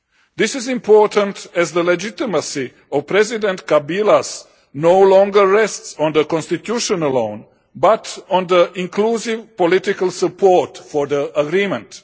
This is important, as the legitimacy of President Kabila no longer rests on the constitution alone, but on inclusive political support for the agreement.